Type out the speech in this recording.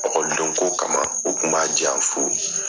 Ɔkɔliden ko kama, u kun b'a diyan fu.